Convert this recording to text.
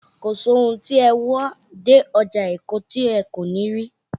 Kò sí ohun tí ẹ wá dé ọjà Èkó tí ẹ kò ní rí